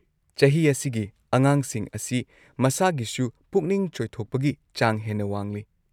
ꯆꯍꯤ ꯑꯁꯤꯒꯤ ꯑꯉꯥꯡꯁꯤꯡ ꯑꯁꯤ ꯃꯁꯥꯒꯤꯁꯨ ꯄꯨꯛꯅꯤꯡ ꯆꯣꯏꯊꯣꯛꯄꯒꯤ ꯆꯥꯡ ꯍꯦꯟꯅ ꯋꯥꯡꯂꯤ ꯫